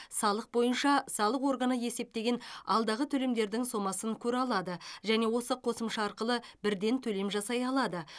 салық бойынша салық органы есептеген алдағы төлемдердің сомасын көре алады және осы қосымша арқылы бірден төлем жасай алады